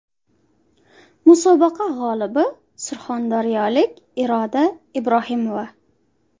Musobaqa g‘olibi surxondaryolik Iroda Ibrohimova.